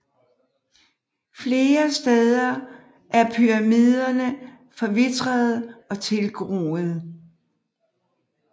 Flere steder er pyramidene forvitrede og tilgroede